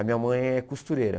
A minha mãe é costureira.